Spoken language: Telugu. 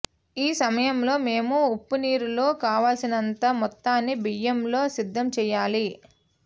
ఈ సమయంలో మేము ఉప్పునీరులో కావలసినంత మొత్తాన్ని బియ్యంలో సిద్ధం చేయాలి